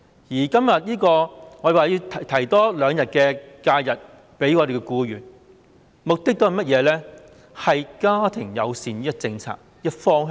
我們今天要求向僱員額外增加兩天侍產假，目的是推動家庭友善的政策方向。